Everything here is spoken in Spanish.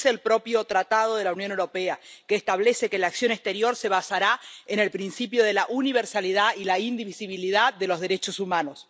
lo dice el propio Tratado de la Unión Europea, que establece que la acción exterior se basará en el principio de la universalidad y la indivisibilidad de los derechos humanos.